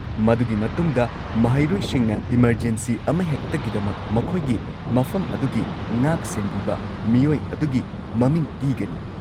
ꯃꯗꯨꯒꯤ ꯃꯇꯨꯡꯗ, ꯃꯍꯩꯔꯣꯏꯁꯤꯡꯅ ꯏꯃꯔꯖꯦꯟꯁꯤ ꯑꯃꯍꯦꯛꯇꯒꯤꯗꯃꯛ ꯃꯈꯣꯏꯒꯤ ꯃꯐꯝ ꯑꯗꯨꯒꯤ ꯉꯥꯛꯁꯦꯟꯕꯤꯕ ꯃꯤꯑꯣꯏ ꯑꯗꯨꯒꯤ ꯃꯃꯤꯡ ꯄꯤꯒꯅꯤ꯫